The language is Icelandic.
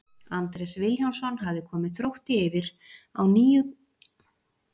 Andrés Vilhjálmsson hafði komið Þrótti yfir á níundu mínútu leiksins.